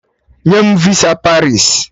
Nye m visa Paris!